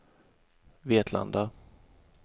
Vetlanda